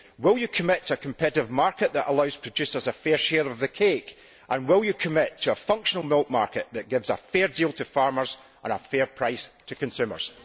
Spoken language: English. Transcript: Will you commit to a competitive market that allows producers a fair share of the cake, and will you commit to a functional milk market that gives a fair deal to farmers and a fair price to consumers?